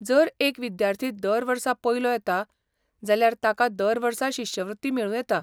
जर एक विद्यार्थी दर वर्सा पयलो येता, जाल्यार ताका दर वर्सा शिश्यवृत्ती मेळूं येता.